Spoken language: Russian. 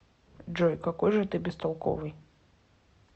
джой какой же ты бестолковый